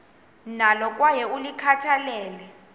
nalo kwaye ulikhathalele